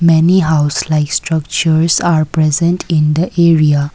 many house like structures are present in the area.